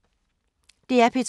DR P2